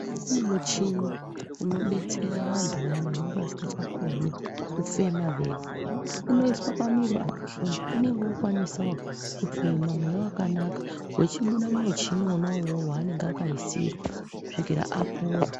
Kune muchini unodetsera vantu vayani vanenge vasikachakoni kufema vega unoiswa pamiro apa munhu unenge wokwanisawo kufema mweya wakanaka wechibuda mumuchini wona uwowo waanenga akaisirwa kusvikira apora.